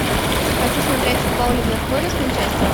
хочу смотреть футбол ливерпуля с манчестером